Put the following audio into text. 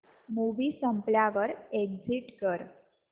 movie संपल्यावर exit कर